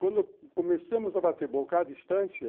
Quando começamos a bater boca à distância,